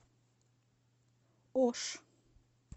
ош